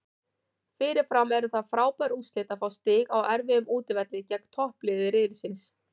Fyrirfram eru það frábær úrslit að fá stig á erfiðum útivelli gegn toppliði riðilsins.